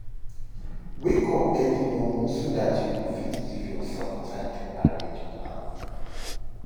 Wake up early momo so dat you go fit giv urself time to arrange plans